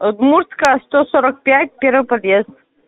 удмуртская сто сорок пять первый подъезд